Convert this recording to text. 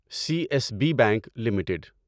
C S B bank limited